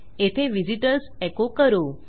येथे व्हिझिटर्स एको करू